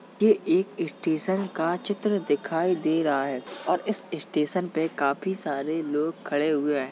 ये एक स्टेशन का चित्र दिखाई दे रहा है और इस स्टेशन पे काफी सारे लोग खड़े हुए हैं।